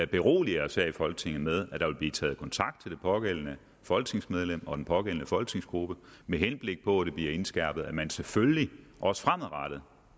berolige os her i folketinget med at der vil blive taget kontakt til det pågældende folketingsmedlem og den pågældende folketingsgruppe med henblik på at det bliver indskærpet at man selvfølgelig også fremadrettet